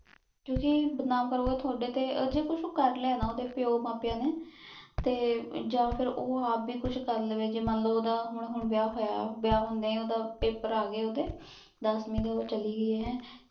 ਕ੍ਯੂ ਕੇ ਬਦਨਾਮ ਕਰੋ ਤੁਹਾਡੇ ਤੇ ਊ ਜੋ ਕੁਛ ਕਰ ਲਾਯਾ ਆ ਨੇ ਓਹਦੇ ਪਾਯੋ ਮਾਂ ਪਾਯੋ ਨੇ ਤੇ ਯਾਨ ਫੇਰ ਊ ਆਪ ਵੀ ਕੁਛ ਕਰ ਲਾਵੇ ਜੇ ਮਨ ਲੋ ਓਹਦਾ ਹੁਣ ਹੁਣ ਵਿਯਾਹ ਹੋਯਾ ਵਿਯਾਹ ਹੁੰਦ੍ਯਾਂ ਈ ਓਹਦਾ ਪੈਪਰ ਅਗੇ ਓਦੇ ਦਸਵੇਂ ਦੇ ਊ ਚਲੀ ਗਈ ਹੇੰ